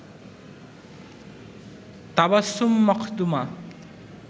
Tabassum Makhduma